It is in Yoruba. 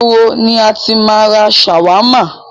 Ìgboro ni a ti máa ń ra ṣàwámà.